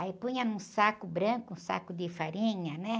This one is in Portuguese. Aí punha num saco branco, um saco de farinha, né?